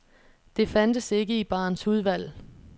Det fandtes ikke i barens udvalg.